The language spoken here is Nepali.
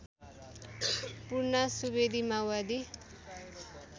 पूर्णा सुवेदी माओवादी